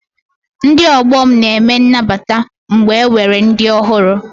Ndị ọgbọ m na-eme N'nabata mgbe enwere ndị ọhụrụ